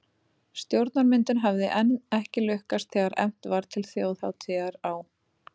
Stjórnarmyndun hafði enn ekki lukkast þegar efnt var til þjóðhátíðar á